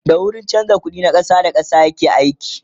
da a wurin chanza ƙuɗi ta ƙasa da ƙasa yake aiki